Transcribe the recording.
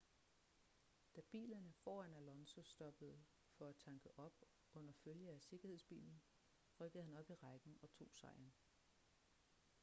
da bilerne foran alonso stoppede for at tanke op under følge af sikkerhedsbilen rykkede han op i rækken og tog sejren